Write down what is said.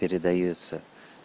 передаётся